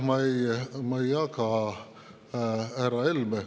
Ma ei jaga härra Helme …